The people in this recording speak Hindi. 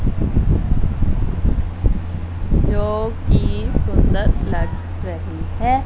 जो कि सुंदर लग रही है।